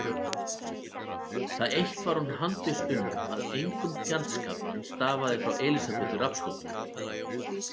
Það eitt var hún handviss um að engum fjandskap stafaði frá Elísabetu Rafnsdóttur.